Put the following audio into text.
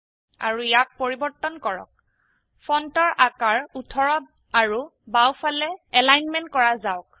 আৰু ইয়াক পৰিবৰ্তন কৰক ফন্টৰ আকাৰ ১৮ আৰু বাও ফালে এলাইনমেন্ট কৰা যাওক